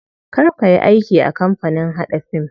Kar kayi aiki a kamapanin haɗa fim.